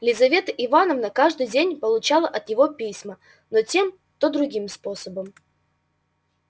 лизавета ивановна каждый день получала от него письма но тем то другим образом